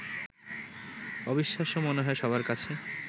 অবিশ্বাস্য মনে হয় সবার কাছে